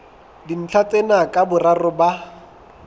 dintlha tsena ka boraro ba